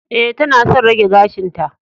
E, tana son rage gashinta